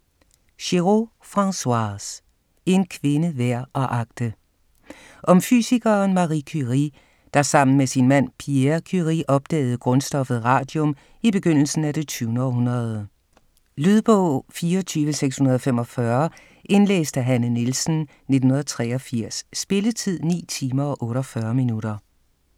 Giroud, Françoise: En kvinde værd at agte Om fysikeren Marie Curie, der sammen med sin mand Pierre Curie opdagede grundstoffet radium i begyndelsen af det 20. århundrede. Lydbog 24645 Indlæst af Hanne Nielsen, 1983. Spilletid: 9 timer, 48 minutter.